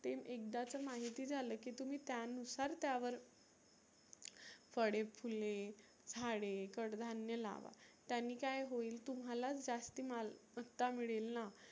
ते एकदाच माहिती झालं की तुम्ही त्यानुसार त्यावर फळे, फुले, झाडे, कड धान्य लावा. त्यानी काय होईल तुम्हाला जास्ती मालमत्ता मिळेल ना.